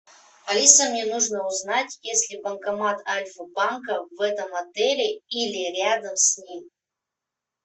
алиса мне нужно узнать есть ли банкомат альфа банка в этом отеле или рядом с ним